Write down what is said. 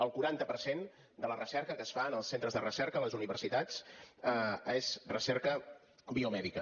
el quaranta per cent de la recerca que es fa en els centres de recerca a les universitats és recerca biomèdica